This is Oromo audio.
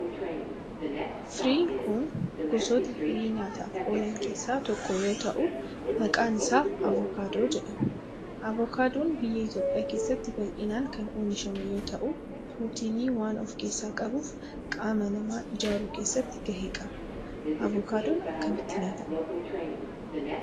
Firiin kun gosoota firii nyaataf oolan keesaa tokko yoo ta'u maqaan isaa avokaadoo jedhama. Avokaadoon biyya Itiyoophiyaa keessatti bal'inaan kan oomishamu yoo ta'u pirootinii waan of keessaa qabuf qaama namaa ijaaruu keesatti gahee qaba. Avokaadoon akkamitti nyaatama?